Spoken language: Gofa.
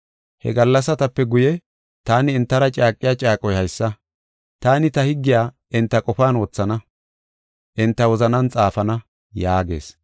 “He gallasatape guye, taani entara caaqiya caaqoy haysa: Taani ta higgiya enta qofan wothana; enta wozanan xaafana” yaagees.